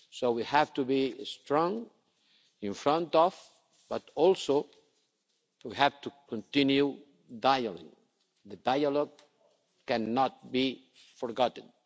We have to be strong in front but also we have to continue dialogue. Dialogue cannot be forgotten.